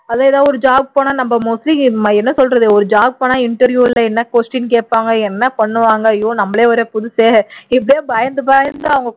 அதான் ஏதோ ஒரு job போனா நம்ம என்ன சொல்றது ஒரு job போனா interview ல என்ன question கேப்பாங்க என்ன பண்ணுவாங்க ஐயோ நம்மளே வேற புதுசே இப்படியே பயந்து பயந்து